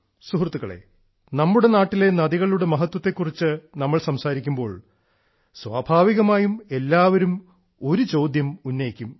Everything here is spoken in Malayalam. സുഹൃത്തുക്കളെ നമ്മുടെ നാട്ടിലെ നദികളുടെ മഹത്വത്തെക്കുറിച്ച് നമ്മൾ സംസാരിക്കുമ്പോൾ സ്വാഭാവികമായും എല്ലാവരും ഒരു ചോദ്യം ഉന്നയിക്കും